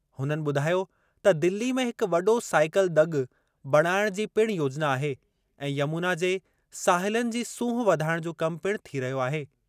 हुननि ॿुधायो त दिल्ली में हिक वॾो साइकल दॻि बणाइणु जी पिणु योजिना आहे ऐं यमुना जे साहिलनि जी सूंहुं वधाइणु जो कम पिणु थी रहियो आहे।